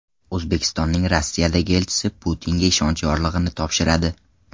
O‘zbekistonning Rossiyadagi elchisi Putinga ishonch yorlig‘ini topshiradi.